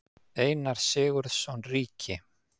Einar Sigurðsson ríki.